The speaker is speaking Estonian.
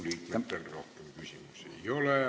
Riigikogu liikmetel rohkem küsimusi ei ole.